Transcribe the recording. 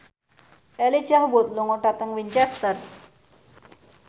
Elijah Wood lunga dhateng Winchester